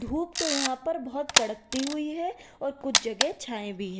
धूप तो यहां पर बहुत कड़कती हुई है और कुछ जगह छाए भी हैं।